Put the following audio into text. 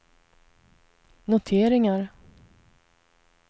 noteringar